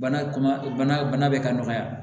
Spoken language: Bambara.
Bana bana bɛ ka nɔgɔya